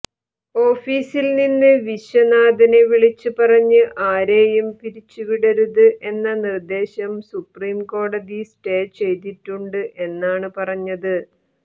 ഓഫീസിൽ നിന്ന് വിശ്വനാഥനെ വിളിച്ച് പറഞ്ഞത് ആരെയും പിരിച്ചു വിടരുത് എന്ന നിർദ്ദേശം സുപ്രീംകോടതി സ്റ്റേ ചെയ്തിട്ടുണ്ട് എന്നാണ് പറഞ്ഞത്